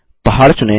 पहाड़ चुनें